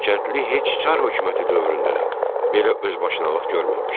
Kəndli heç çar hökuməti dövründə də belə özbaşınalıq görməmişdi.